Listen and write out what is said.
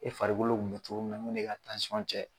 E farikolo kun be cogomin na mun b'e ka cɛ